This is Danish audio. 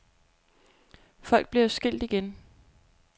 Folk bliver jo skilt igen.